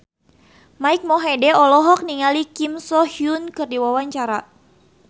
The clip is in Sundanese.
Mike Mohede olohok ningali Kim So Hyun keur diwawancara